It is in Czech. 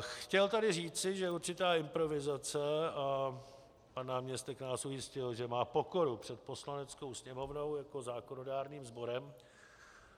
Chtěl tady říci, že určitá improvizace - a pan náměstek nás ujistil, že má pokoru před Poslaneckou sněmovnou jako zákonodárným sborem,